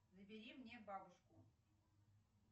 набери мне бабушку